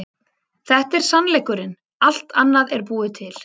Þetta er sannleikurinn, allt annað er búið til.